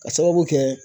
Ka sababu kɛ